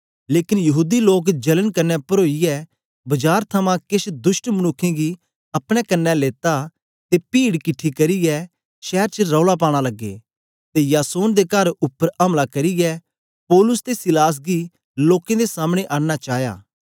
लेकन यहूदी लोक जलन कन्ने परोईयै बजार थमां केछ दुष्ट मनुक्खें गी अपने कन्ने लेता ते पीड किठी करियै शैर च रौला पाना लगे ते यासोन दे कर उपर अमला करियै पौलुस ओर सीलास गी लोकें दे सामने आनना चाया